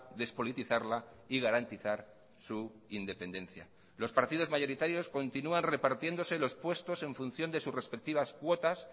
despolitizarla y garantizar su independencia los partidos mayoritarios continúan repartiéndose los puestos en función de sus respectivas cuotas